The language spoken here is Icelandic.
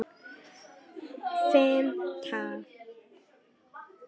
Á fimmta degi hringdi Mark.